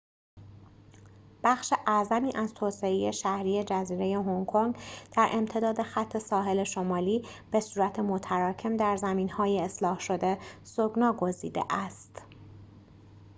بخش اعظمی از توسعه شهری جزیره هنگ‌کنگ در امتداد خط ساحل شمالی به‌صورت متراکم در زمین‌های اصلاح‌شده سکنی‌گزیده است